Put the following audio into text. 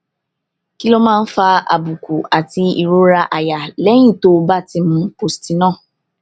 kí ló máa ń fa àbùkù àti ìrora àyà lẹyìn tó o bá ti mu postinor